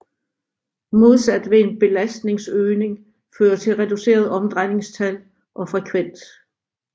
Modsat vil en belastningsøgning føre til reduceret omdrejningstal og frekvens